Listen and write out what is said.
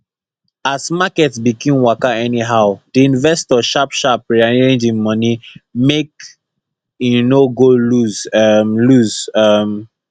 as market begin waka anyhow the investor sharpsharp rearrange him money make he no go loose um loose um